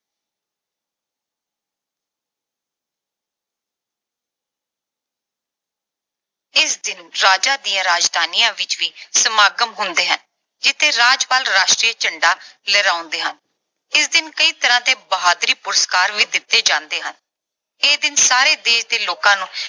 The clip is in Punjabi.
ਇਸ ਦਿਨ ਰਾਜਾਂ ਦੀਆਂ ਰਾਜਧਾਨੀਆਂ ਵਿੱਚ ਵੀ ਸਮਾਗਮ ਹੁੰਦੇ ਹਨ ਜਿਥੇ ਰਾਜਪਾਲ ਰਾਸ਼ਟਰੀ ਝੰਡਾ ਲਹਿਰਾਉਂਦੇ ਹਨ। ਇਸ ਦਿਨ ਕਈ ਤਰ੍ਹਾਂ ਦੇ ਬਹਾਦਰੀ ਪੁਰਸਕਾਰ ਵੀ ਦਿੱਤੇ ਜਾਂਦੇ ਹਨ। ਇਹ ਦਿਨ ਸਾਰੇ ਦੇਸ਼ ਦੇ ਲੋਕਾਂ ਨੂੰ